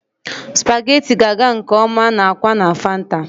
Spaghetti ga-aga nke ọma na akwa na fanta.